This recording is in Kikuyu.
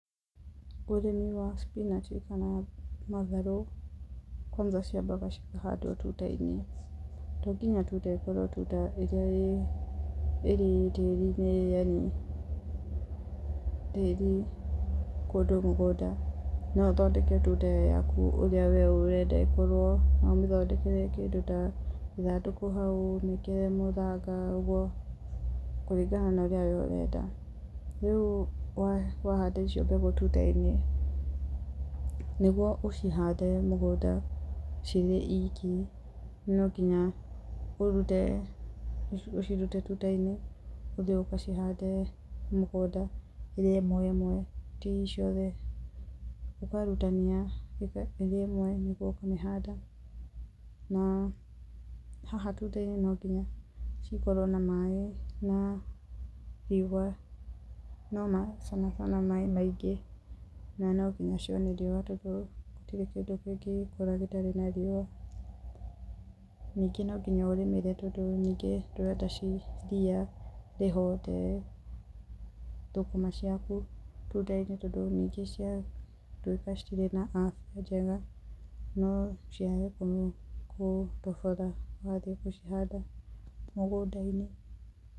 Ũrĩmi wa spinanji kana matharũ kwanja ciambaga cikahandwo tutainĩ. To nginya tuta ĩgakirwo ĩrĩa ĩrĩ tĩri-inĩ, tĩri kũndũ mũgũnda no ũthondeka tuta ĩyaku ũrĩa we ũrenda ĩkorwo, no ũmĩthondeke kĩndũ ta ĩthandũkũ hau ũrĩkĩre mũthanga ũguo kũringana na ũrĩa we ũrenda. Rĩu wahanda icio mbegu tuta-inĩ niguo ũcihande mũgũnda cirĩ iki nonginya ũcirute tuta-inĩ ũthĩĩ ũgacihande mũgũnda ĩrĩ ĩmwe ĩmwe iciothe, ũkarutania ĩrĩ ĩmwe nĩguo ũkamĩhanda na haha tuta-inĩ nonginya cikorwo na maĩ na riũwa na sana sana maĩ maingĩ na nonginya cione riũwa tondũ gũtirĩ kĩndũ kĩngĩkũra gĩtarĩ na riũwa. Ningĩ no nginya ũrĩmĩre tondũ nyingĩ ndĩrenda cithiĩ riũwa rĩhũe tondũ thũkũma ciaku ningĩ cikorwo citirĩ na Afya njega no ciakorwo nĩi ĩgũtobora nĩ ũgũcihanda mũgũnda-inĩ.